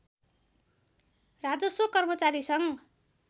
राजस्व कर्मचारी सङ्घ